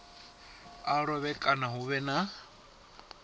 a lovhe kana hu vhe